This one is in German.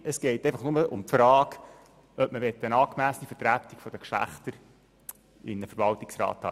Es geht jetzt nur um die Frage, ob man eine angemessene Vertretung der Geschlechter in einem Verwaltungsrat haben möchte.